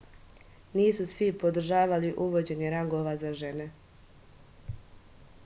nisu svi podržavali uvođenje rangova za žene